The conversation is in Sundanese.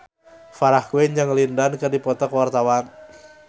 Farah Quinn jeung Lin Dan keur dipoto ku wartawan